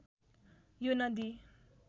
यो नदी